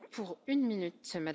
Pani Przewodnicząca!